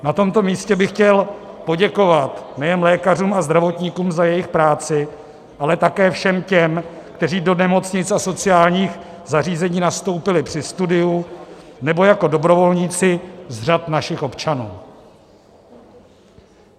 Na tomto místě bych chtěl poděkovat nejen lékařům a zdravotníkům za jejich práci, ale také všem těm, kteří do nemocnic a sociálních zařízení nastoupili při studiu nebo jako dobrovolníci z řad našich občanů.